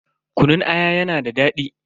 Kunun aya yana da daɗi.